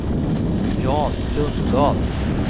Jan Lundblad